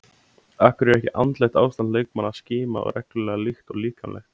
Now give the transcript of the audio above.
Af hverju er ekki andlegt ástand leikmanna skimað reglulega líkt og líkamlegt?